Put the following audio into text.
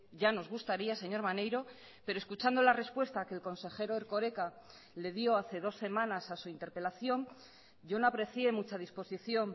ya nos gustaría señor maneiro pero escuchando la respuesta que el consejero erkoreka le dio hace dos semanas a su interpelación yo no aprecié mucha disposición